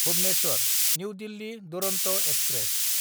Bhubaneswar new Delhi Duronto express